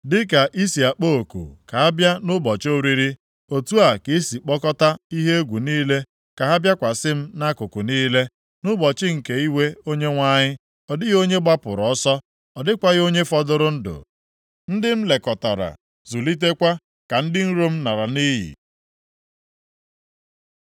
“Dịka i si akpọ oku ka a bịa nʼụbọchị oriri, otu a ka i si kpọkọta ihe egwu niile ka ha bịakwasị m nʼakụkụ niile. Nʼụbọchị nke iwe Onyenwe anyị ọ dịghị onye gbapụrụ ọsọ, ọ dịkwaghị onye fọdụrụ ndụ; ndị m lekọtara, zụlitekwa ka ndị iro m lara nʼiyi.”